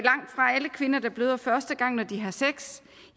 alle kvinder der bløder første gang når de har sex